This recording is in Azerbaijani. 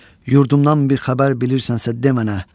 yurdumdan bir xəbər bilirsənsə demə mənə.